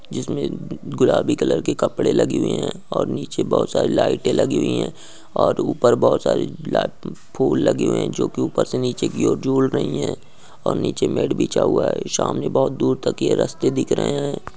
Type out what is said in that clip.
जिसमें गुलाबी कलर के कपड़े लगे हुए हैं और नीचे बहुत सारी लाइटें लगी हुई हैं और ऊपर बहुत सारे गुलाब के फूल लगे हुए हैं जो की उपर से नीचे की और झूल रही हैं और नीचे मेट बिछा हुआ है। शाम में बहुत दूर तक ये रास्ते दिख रहे हैं।